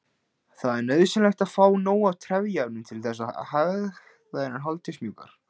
Það er nauðsynlegt að fá nóg af trefjaefnum til þess að hægðirnar haldist mjúkar.